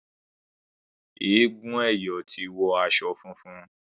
egún eyo tí wò aṣọ fúnfún.